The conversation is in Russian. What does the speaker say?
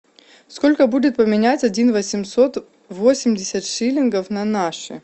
сколько будет поменять один восемьсот восемьдесят шиллингов на наши